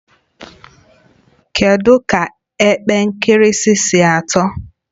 Kedu ka epe nkirisi si atọ?